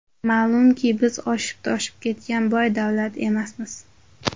Ma’lumki, biz oshib-toshib ketgan boy davlat emasmiz.